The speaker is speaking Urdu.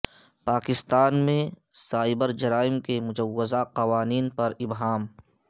پاکستان میں سائبر جرائم کے مجوزہ قوانین پر ابہام